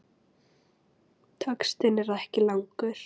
Textinn er ekki langur.